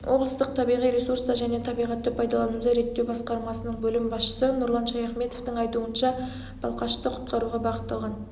облыстық табиғи ресурстар және табиғатты пайдалануды реттеу басқармасының бөлім басшысы нұрлан шаяхметовтің айтуынша балқашты құтқаруға бағытталған